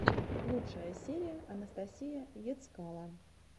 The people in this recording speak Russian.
лучшая серия анастасия ецкало